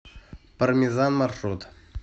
пармезан маршрут